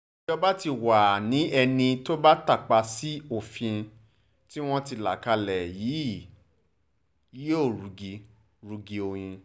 ìjọba tí wàá ní ẹni tó bá tàpá sófin tí wọ́n ti là kalẹ̀ yìí yóò rugi rugi oyin